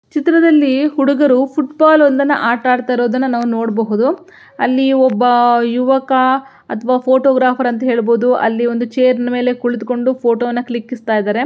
ಚಿತ್ರದಲ್ಲಿ ಹುಡುಗರು football ಒಂದನ್ನ ಆಟ ಹಾಡುತಿರುವುದನ್ನ ನಾವು ನೋಡಬಹುದು ಅಲ್ಲಿ ಒಬ್ಬ ಯುವಕ ಅಥವಾ ಫೋಟೋಗ್ರಾಫರ್ ಅಂತ ಹೇಳಬಹುದು ಅಲ್ಲಿ ಒಂದು ಚೇರ್ ಮೇಲೆ ಕುಳಿತುಕೊಂಡು ಫೋಟೋವನ್ನು ಕ್ಲಿಕ್ಸ್ಟ ಇದಾರೆ.